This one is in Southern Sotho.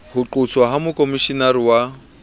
ho qoswa ha mokhomishenara wa